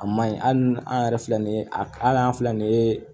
A maɲi hali ni an yɛrɛ filɛ nin ye ali an filɛ nin ye